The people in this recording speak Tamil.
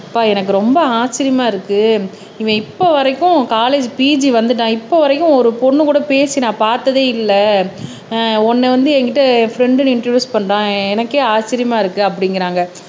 அப்பா எனக்கு ரொம்ப ஆச்சரியமா இருக்கு இவன் இப்ப வரைக்கும் காலேஜ் பிஜி வந்துட்டான் இப்ப வரைக்கும் ஒரு பொண்ணு கூட பேசி நான் பார்த்ததே இல்ல உன்னை வந்து என்கிட்ட ஃப்ரெண்ட்ன்னு இன்ட்ரொடியூஸ் பண்றான் எனக்கே ஆச்சரியமா இருக்கு அப்படிங்கிறாங்க